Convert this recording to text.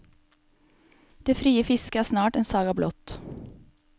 Det frie fisket er snart en saga blott.